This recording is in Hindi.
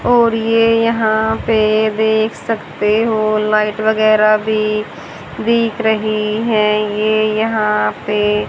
और ये यहां पे देख सकते हो लाइट वगैर भी बिक रही है ये यहां पे--